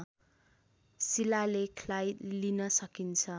शिलालेखलाई लिन सकिन्छ